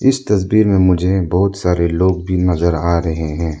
इस तस्वीर में मुझे बहोत सारे लोग भी नजर आ रहे हैं।